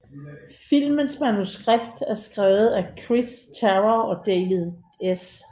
Filmens manuskript er skrevet af Chris Terrio og David S